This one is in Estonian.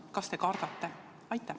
Kas te kardate?